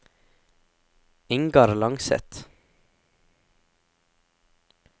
Ingar Langseth